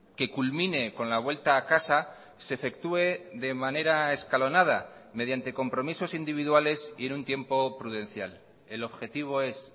que culmine con la vuelta a casa se efectúe de manera escalonada mediante compromisos individuales y en un tiempo prudencial el objetivo es